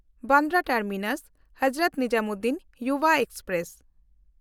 Bandra ᱴᱟᱨᱢᱤᱱᱟᱥ–ᱦᱚᱡᱽᱨᱚᱛ Nizamuddin Yuva express